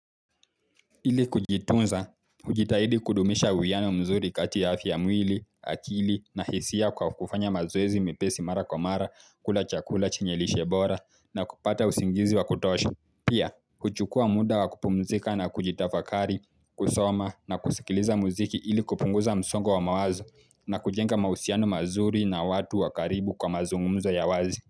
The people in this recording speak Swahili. Ili kujitunza, hujitahidi kudumisha uwiano mzuri kati afya ya mwili, akili na hisia kwa kufanya mazoezi mepesi mara kwa mara, kula chakula chenye lishe bora na kupata usingizi wa kutosha. Pia, kuchukua muda wa kupumzika na kujitafakari, kusoma na kusikiliza muziki ili kupunguza msongo wa mawazo na kujenga mahusiano mazuri na watu wa karibu kwa mazungumzo ya wazi.